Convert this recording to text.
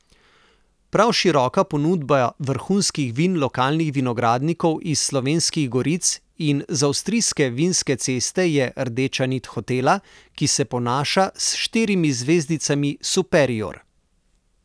Prav široka ponudba vrhunskih vin lokalnih vinogradnikov iz Slovenskih goric in z avstrijske vinske ceste je rdeča nit hotela, ki se ponaša s štirimi zvezdicami superior.